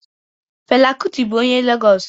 Fela Kuti bụ onye Legos